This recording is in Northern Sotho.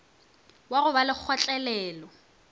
wa go ba le kgotlelelo